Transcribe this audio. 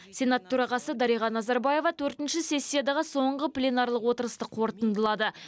сенат төрағасы дариға назарбаева төртінші сессиядағы соңғы пленарлық отырысты қорытындылады